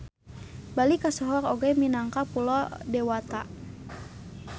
Bali kasohor oge minangka Pulo Dewata.